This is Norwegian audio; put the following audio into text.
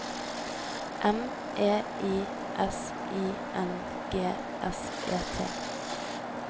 M E I S I N G S E T